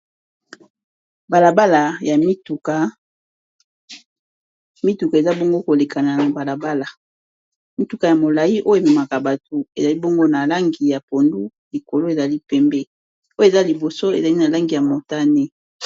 balabala yamituka ,mituka eza bongo koleka na balabala , mituka ya molai oyo ememaka bato ezali bongo na langi ya pondu likolo ezali pembe oyo eza liboso ezali na langi ya motane